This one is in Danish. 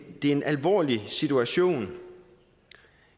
er en alvorlig situtation